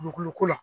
Dugukolo ko la